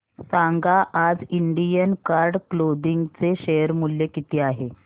सांगा आज Indian card clothing चे शेअर मूल्य किती आहे